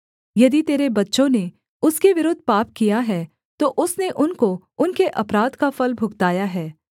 यदि तेरे बच्चों ने उसके विरुद्ध पाप किया है तो उसने उनको उनके अपराध का फल भुगताया है